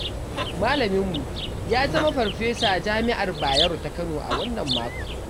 Malaminmu ya zama farfesa jami'ar Bayero ta kano a wannan makon.